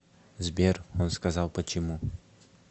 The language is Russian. сбер он сказал почему